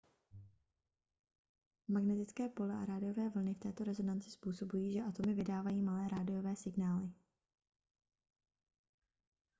magnetické pole a rádiové vlny v této rezonanci způsobují že atomy vydávají malé rádiové signály